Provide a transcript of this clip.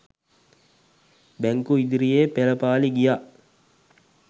බැංකු ඉදිරියේ පෙළපාළි ගියා.